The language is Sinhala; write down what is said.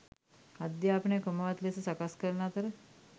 අධ්‍යාපනය ක්‍රමවත් ලෙස සකස් කරන අතර